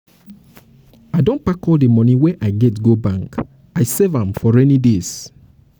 i don pack all the money wey i make last week go bank i save am for rainy days